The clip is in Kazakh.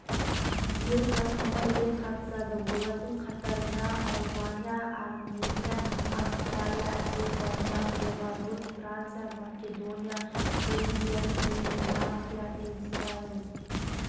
биыл байқауға ел қатысады олардың қатарында албания армения австралия әзербайжан беларусь франция македония грузия ирландия израиль